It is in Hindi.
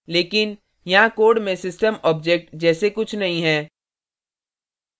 लेकिन यहाँ code में system object जैसे कुछ नहीं है